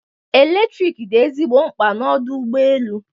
Eletrik dị ezigbo mkpa n'ọdụ ụgbọ elu.